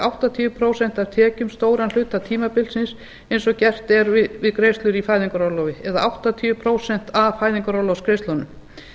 áttatíu prósent af tekjum stóran hluta tímabilsins eins og gert er við greiðslur í fæðingarorlofi eða áttatíu prósent af fæðingarorlofsgreiðslunum